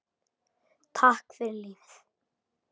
Takk fyrir lífið.